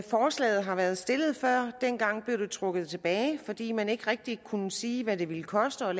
forslaget har været stillet før dengang blev det trukket tilbage fordi man ikke rigtig kunne sige hvad det ville koste at